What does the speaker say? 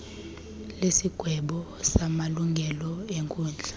lesigwebo samalungelo enkundla